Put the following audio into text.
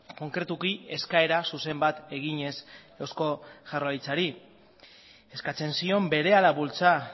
konkretuki eskaera zuzen bat eginez eusko jaurlaritzari eskatzen zion berehala bultza